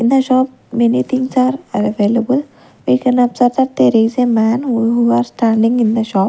In the shop many things are available we can observe that there is a man who are standing in the shop.